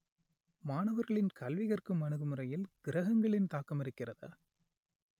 மாணவர்களின் கல்வி கற்கும் அணுகுமுறையில் கிரகங்களின் தாக்கம் இருக்கிறதா